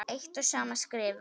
eitt og sama skrifa